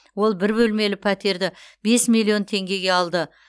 ол бір бөлмелі пәтерді бес миллион теңгеге алды